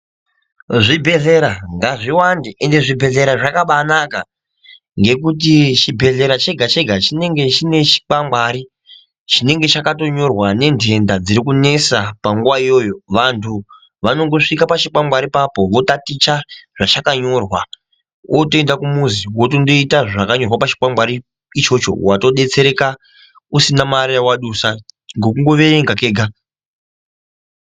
Zvibhehlera ngazviwanda ende zvibhehlera zvakaba anaka ngekuti chibhehlera chega chega ,chinenge chine chikwangwari chinenge chakatonyorwa nenenhenda dziri kunesa panguwa iyoyo vanhu vanongosvika pachikwangwari papo votaticha zvachakanyorwa votoenda kumuzi votonoita zvakanyorwa pachinkwangwari ichocho watodetserwa